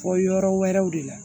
Bɔ yɔrɔ wɛrɛw de la